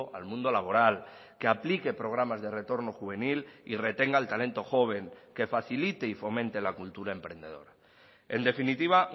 al mundo laboral que aplique programas de retorno juvenil y retenga el talento joven que facilite y fomente la cultura emprendedora en definitiva